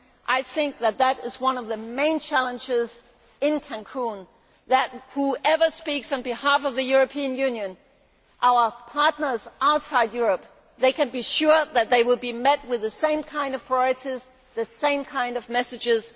I think that this is one of the main challenges in Cancún whoever speaks on behalf of the European Union, our partners outside Europe can be sure that they will be met with the same kind of priorities and the same kind of messages.